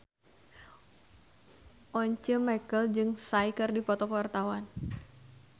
Once Mekel jeung Psy keur dipoto ku wartawan